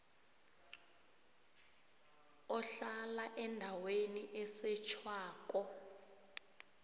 ohlala endaweni esetjhwako